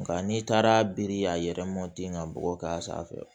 Nka n'i taara biri k'a yɛrɛ ka bɔgɔ k'a sanfɛ